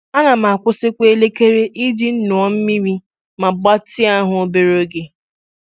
Ana m akwụsị kwa elekere iji ṅụọ mmiri ma gbatịa ahụ obere oge.